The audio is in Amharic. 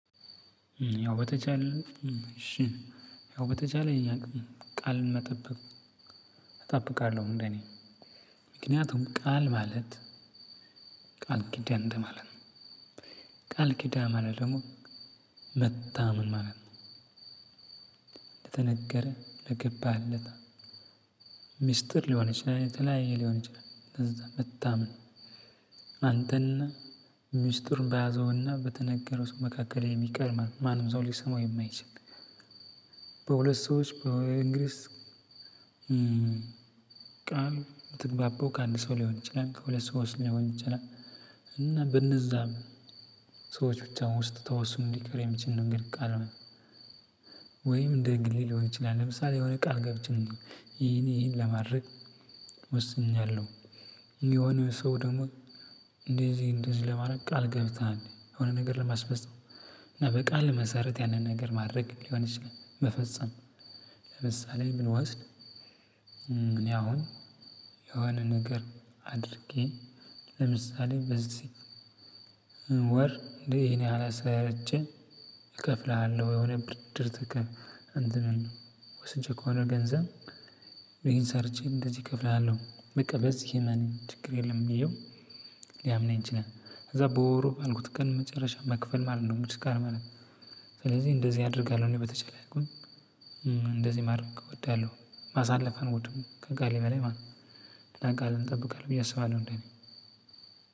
ያው በተቻለ እሽ ያው በተቻለኝ አቅም ቃልን መጠበቅ እጠብቃለሁ። እንደእኔ ምክንያቱም ቃል ማለት ቃል ኪዳን እንደማለት ቃል ኪዳን ማለት ደግሞ መታመን ማለት ነው። ለተነገረ ለገባህለት ሚስጥር ሊሆን ይችላል የተለያየ ሊሆን ይችላል እንደዛ መታመን አንተ ሚስጥሩ በያዘውና በተነገረው ሰው መካከል የሚቀር ማንም ሰው ሊሰማው የማይችል። በሁለት ሰዎች በእንግሊዝ ቃል ምትግባባው ከአንድ ሰው ሊሆን ይችላል ከሁለት ሰው ሊሆን ይችላል። እና በነዛም ሰዎች ብቻ ውስጥ ተወስኖ ሊቀር የሚችል ነገር ቃል ነው። ወይም እንደ ግሌ ሊሆን ይችላል ለምሳሌ የሆነ ቃል ገብቼ ይሂን ይሂን ለማድረግ ወስኛለሁ። የሆነ ሰው ደግሞ እንደዚህ እንደዚህ ለማድረግ ቃል ገብተናል የሆነ ነገር ለማስፈፀም። እና በቃል መሰረት ያንን ነገር ማድረግ ሊሆን ይችላል መፈጸም። ለምሳሌ ብንወስድ እኔ አሁን የሆነ ነገር አድርጌ ለምሳሌ በዚህ ወር እኔ ይሄን ያህል ሰርቼ እከፍልሃለሁ። የሆነ ብድር ትከፍ እንትን ወስጄ ከሆነ ገንዘብ ይሄን ሰርቼ እንደዚህ እከፍልሃለሁ በቃ በዝህ እመነኝ ችግር የለም። ይሃው ሊያምነኝ ይችላል ከዛ በወሩ ባልኩት ቀን መጨረሻ መክፈል ማለት ነው። ምስካር ማለት ስለዚህ እንደዚህ አደርጋለሁ። እኔ በተቻለ አቅም እንደዚህ ማድረግ እወዳለሁ ማሳለፍ አልወድም ከቃሌ በላይ ማለት ነው። እና ቃሌን እጠብቃለሁ ብዬ አስባለሁ እንደኔ።